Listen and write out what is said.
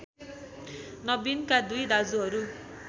नबिनका २ दाजुहरू